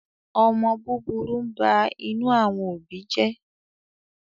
omó búburú ń bá inú àwọn òbí jé.